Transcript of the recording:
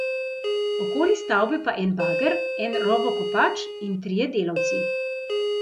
Okoli stavbe pa en bager, en rovokopač in trije delavci.